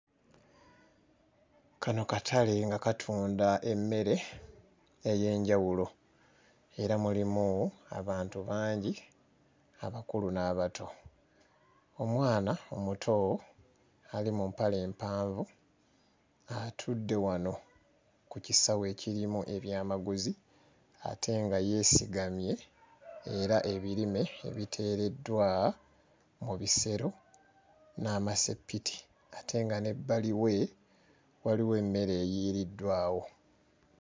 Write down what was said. Kano katale nga katunda emmere ey'enjawulo era mulimu abantu bangi abakulu n'abato, omwana omuto ali mu mpale empanvu atudde wano ku kisawo ekirimu ebyamaguzi ate nga yeesigamye era ebirime ebiteereddwa mu bisero n'amassepiti ate nga n'ebbali we waliwo emmere eyiiriddwawo.